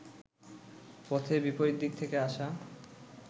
পথে বিপরীত দিক থেকে আসা